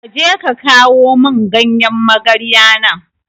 Kaje ka kawo mun ganyan magarya nan